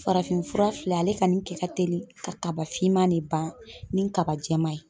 Farafin fura filɛ ale kani kɛ ka teli ka kaba finman de ban ni kaba jɛman ye.